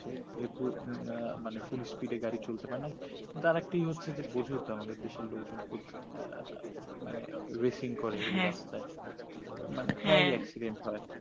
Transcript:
আঃ মানে full speed এ গাড়ি চলতে পারে না আর একটা হচ্ছে বসে যেতে হবে আমাদের দেশের লোকজন খুব মানে racing করে হ্যা ওই রাস্তায় হ্যা মানে প্রায় ই accident হয়